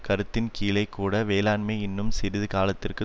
கருத்தின்கீழேக்கூட வேலையின்மை இன்னும் சிறிது காலத்திற்கு